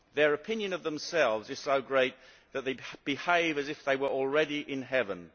Their opinion of themselves is so great that they behave as if they were already in heaven